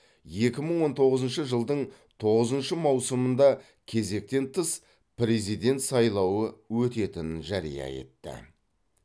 екі мың он тоғызыншы жылдың тоғызыншы маусымында кезектен тыс президент сайлауы өтетінін жария етті